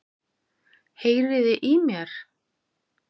Heyriði í mér?